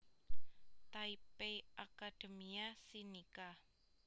Taipei Academia Sinica